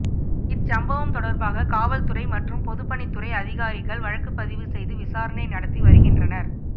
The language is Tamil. இச்சம்பவம் தொடர்பாக காவல்துறை மற்றும் பொதுப்பணித்துறை அதிகாரிகள் வழக்கப்பதிவு செய்து விசாரணை நடத்தி வருகின்றனர்